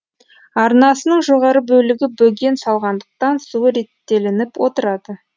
арнасының жоғары бөлігі бөген салғандықтан суы реттелініп отырады